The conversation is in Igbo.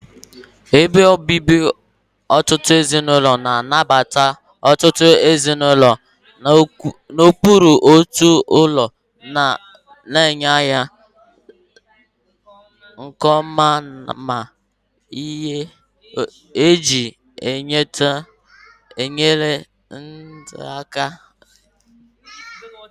Ebe obibi ọtụtụ ezinụlọ, na-anabata ọtụtụ ezinụlọ n'okpuru otu ụlọ, na-enye ala nke ọma na ihe eji enyere ndụ aka.